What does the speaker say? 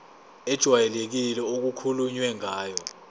ejwayelekile okukhulunywe ngayo